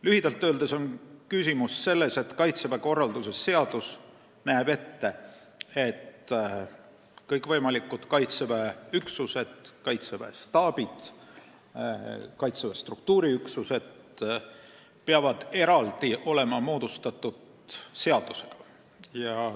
Lühidalt öeldes, Kaitseväe korralduse seadus näeb ette, et kõikvõimalikud Kaitseväe üksused, staabid ja struktuuriüksused peavad olema eraldi moodustatud seadusega.